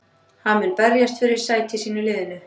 Hann mun berjast fyrir sæti sínu í liðinu.